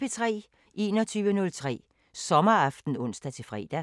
21:03: Sommeraften (ons-fre)